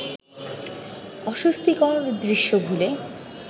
অস্বস্তিকর দৃশ্য ভুলে